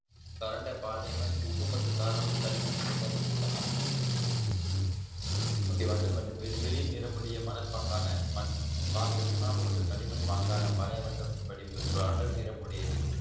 சுரண்டை பாண்டியம்மன் உப்பு மற்றும் காரணமும் களிமண் சதுப்பு நில மண் okay வண்டல் மண் வெளிர் நிறமுடைய மணற்பாங்கான மண் பாகு சுண்ணாம்பு மற்றும் களிமண் பாங்கான படிவுகள் அடர் நெறம் உடையது